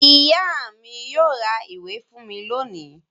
Ìyá mi yóò ra ìwé fún mi lónìí.